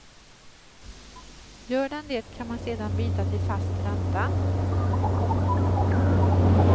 Gör den det kan man sedan byta till fast ränta.